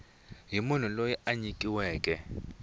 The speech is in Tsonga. hi munhu loyi a nyikiweke